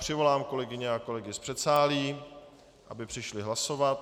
Přivolám kolegyně a kolegy z předsálí, aby přišli hlasovat.